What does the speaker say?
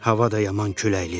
Hava da yaman küləklidir.